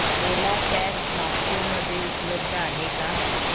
ओला cabs Nagpur मध्ये उपलब्ध आहे का